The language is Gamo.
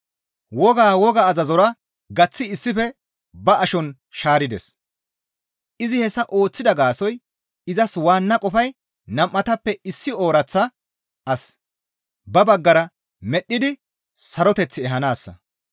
Wogaa, woga azazora gaththi issife ba ashon shaarides; izi hessa ooththida gaasoykka izas waanna qofay nam7atappe issi ooraththa as ba baggara medhdhidi saroteth ehanaassa.